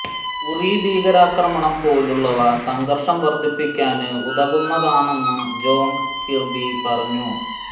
ഉറി ഭീകരാക്രമണം പോലുള്ളവ സംഘര്ഷം വര്ധിപ്പിക്കാന് ഉതകുന്നതാണെന്ന് ജോണ് കിര്ബി പറഞ്ഞു